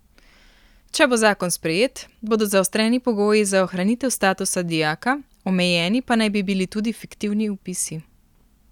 Če bo zakon sprejet, bodo zaostreni pogoji za ohranitev statusa dijaka, omejeni pa naj bi bili tudi fiktivni vpisi.